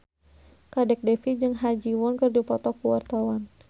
Kadek Devi jeung Ha Ji Won keur dipoto ku wartawan